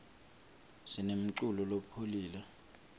sinemculo lopholile